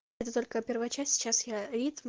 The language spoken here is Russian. это только первая часть сейчас я ритм